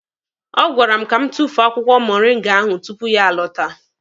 Ọ gwara m ka m tufuo akwụkwọ moringa ahụ tupu ya alọta.